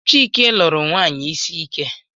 Chike lụru nwanyị isi ike